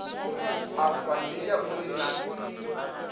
afha ndi ya uri naa